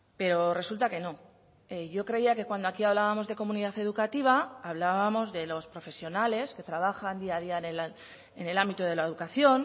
pero resulta que no yo creía que cuando aquí hablábamos de comunidad educativa hablábamos de los profesionales que trabajan día a día en el ámbito de la educación